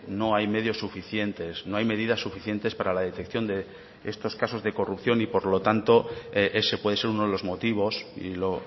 no hay medios suficientes no hay medidas suficientes para la detección de estos casos de corrupción y por lo tanto ese puede ser uno de los motivos y lo